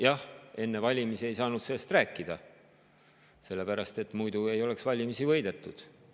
Jah, enne valimisi ei saanud sellest rääkida, sest muidu ei oleks valimisi võidetud.